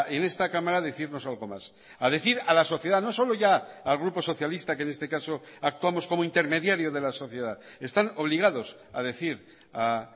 en esta cámara a decirnos algo más a decir a la sociedad no solo ya al grupo socialista que en este caso actuamos como intermediario de la sociedad están obligados a decir a